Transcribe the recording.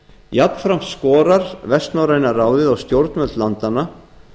jafnframt skorar vestnorræna ráðið á stjórnvöld landanna